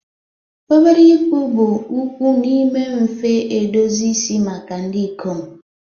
obere ịkpụ bụ ukwuu n'ime mfe edozi isi maka ndị ikom